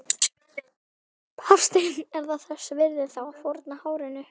Hafsteinn: Er það þess virði þá að fórna hárinu?